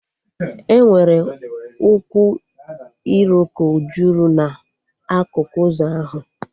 Enwere ukwu iroko jụrụ na akụkụ ụzọ ahụ